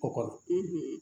Kɔkɔ